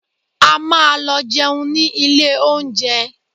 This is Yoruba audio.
A máa lọ jẹun ní ilé oúnjẹ